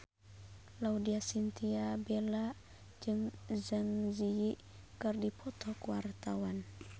Laudya Chintya Bella jeung Zang Zi Yi keur dipoto ku wartawan